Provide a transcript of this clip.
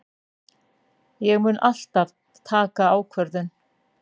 Ég mun alltaf taka ákvörðun.